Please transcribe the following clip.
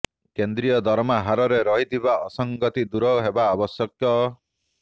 କେନ୍ଦ୍ରୀୟ ଦରମା ହାରରେ ରହିଥିବା ଅସଂଗତି ଦୂର ହେବା ଆବଶ୍ୟକ